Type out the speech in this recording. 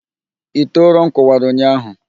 Ite ụrọm kụwara ụnyahụ